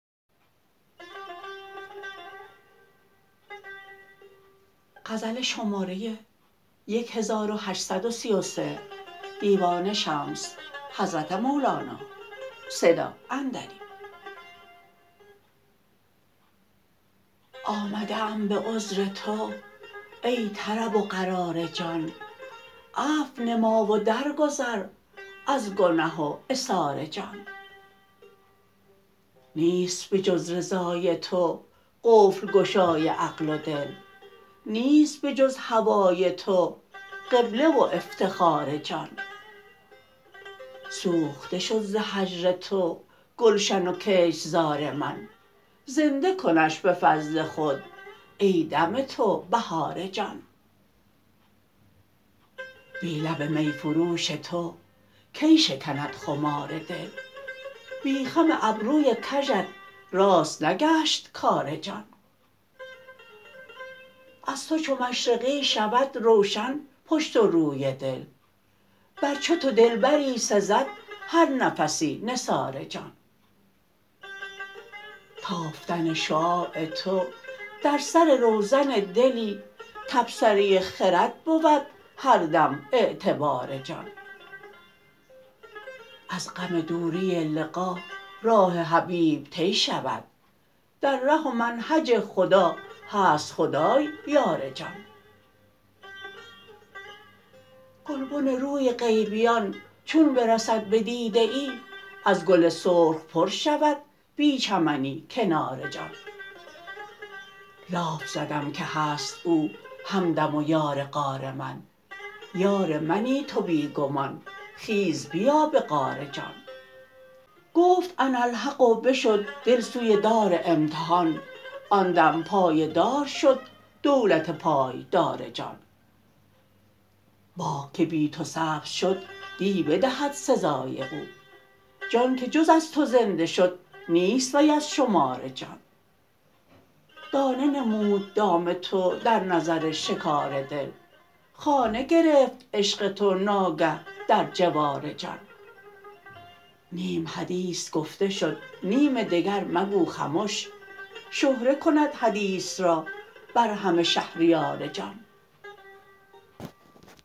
آمده ام به عذر تو ای طرب و قرار جان عفو نما و درگذر از گنه و عثار جان نیست به جز رضای تو قفل گشای عقل و دل نیست به جز هوای تو قبله و افتخار جان سوخته شد ز هجر تو گلشن و کشت زار من زنده کنش به فضل خود ای دم تو بهار جان بی لب می فروش تو کی شکند خمار دل بی خم ابروی کژت راست نگشت کار جان از تو چو مشرقی شود روشن پشت و روی دل بر چو تو دلبری سزد هر نفسی نثار جان تافتن شعاع تو در سر روزن دلی تبصره خرد بود هر دم اعتبار جان از غم دوری لقا راه حبیب طی شود در ره و منهج خدا هست خدای یار جان گلبن روی غیبیان چون برسد بدیده ای از گل سرخ پر شود بی چمنی کنار جان لاف زدم که هست او همدم و یار غار من یار منی تو بی گمان خیز بیا به غار جان گفت اناالحق و بشد دل سوی دار امتحان آن دم پای دار شد دولت پایدار جان باغ که بی تو سبز شد دی بدهد سزای او جان که جز از تو زنده شد نیست وی از شمار جان دانه نمود دام تو در نظر شکار دل خانه گرفت عشق تو ناگه در جوار جان نیم حدیث گفته شد نیم دگر مگو خمش شهره کند حدیث را بر همه شهریار جان